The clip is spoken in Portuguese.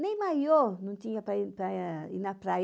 Nem maiô não tinha para ir ir na praia.